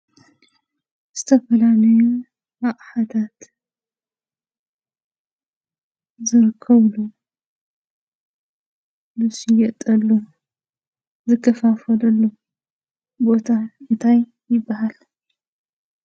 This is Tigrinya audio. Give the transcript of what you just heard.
ዝተፈላለየ ኣቕሓታት ዝርከበሉ፣ ዝሽየጠሉ፣ ዝከፋፈለሉ ቦታ እንታይ ይበሃል?